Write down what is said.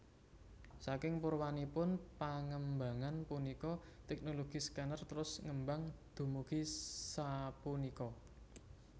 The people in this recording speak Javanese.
Saking purwanipun pangembangan punika teknologi scanner trus ngembang dumugi sapunika